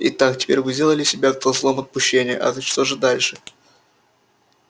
итак теперь вы сделали себя козлом отпущения а что же дальше